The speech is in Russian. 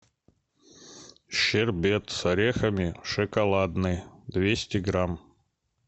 щербет с орехами шоколадный двести грамм